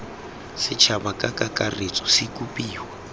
setšhaba ka kakaretso se kopiwa